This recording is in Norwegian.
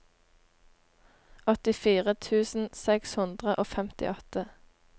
åttifire tusen seks hundre og femtiåtte